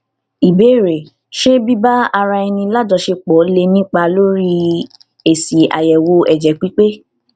ìbéèrè ṣé biba ara eni lajosepo lè nípa lórí esi ayewo ẹjẹ pipe